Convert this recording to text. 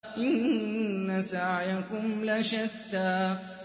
إِنَّ سَعْيَكُمْ لَشَتَّىٰ